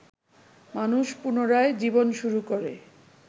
মানুষ পুনরায় জীবন শুরু করে